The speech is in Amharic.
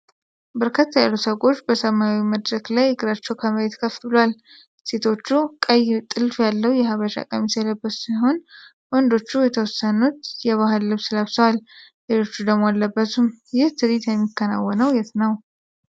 በርከት ያሉ ሰዎች በሰማያዊ መድረክ ላይ እግራቸው ከመሬት ከፍ ብሏል። ሴቶቹ ቀይ ጥልፍ ያለው የሃበሻ ቀሚስ የለበሱ ሲሆን ወንዶቹ የተወሰኑት የባህል ልብስ ለብሰዋል ሌሎቹ ደሞ አለበሱም። ይህ ትርኢት የሚከናወነው የት ነው?